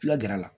Fula gɛrɛ la